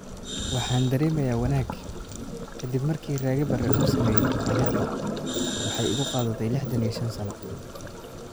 "Waxaan dareemayaa wanaag, ka dib markii Rage Bare uu sameeyay taariikhda waxay igu qaadatay lixdaan iyo shaan sano.